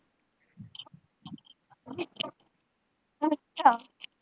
ਅੱਛਾ।